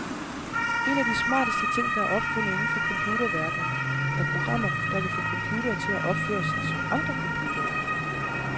En af de smarteste ting, der er opfundet inden for computerverdenen er programmer, der kan få computere til at opføre sig som andre computere.